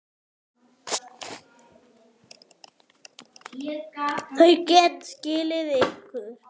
Þau geta skilið ykkur.